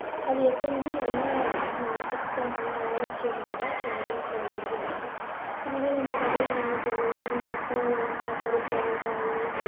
அது எப்போதுமே நல்லா அஹ் சுத்தமா ஆரோக்கியமானதா நம்ம வீட்டில வைக்கிறது இருக்கும், இதுவே நம்ம கடையில வாங்கிட்டு வந்தோம்னா அவங்க எப்போ அதெல்லலாம் ப~ பறிச்சாங்க காயி